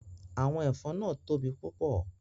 Awọn ẹfọn naa tobi pupọ